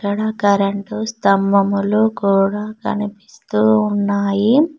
ఇక్కడ కరెంటు స్థంభములు కూడా కనిపిస్తున్నాయి.